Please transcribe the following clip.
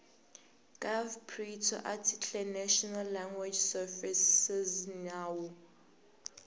gov pri tsoarticlenational language servicesnawu